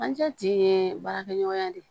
An cɛ ti ye baarakɛɲɔgɔnya de ye